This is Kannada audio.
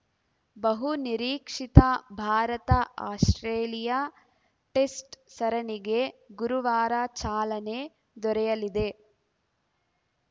ಬಹುನಿರೀಕ್ಷಿತ ಭಾರತಆಸ್ಪ್ರೇಲಿಯಾ ಟೆಸ್ಟ್‌ ಸರಣಿಗೆ ಗುರುವಾರ ಚಾಲನೆ ದೊರೆಯಲಿದೆ